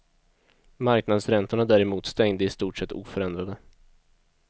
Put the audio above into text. Marknadsräntorna däremot stängde i stort sett oförändrade.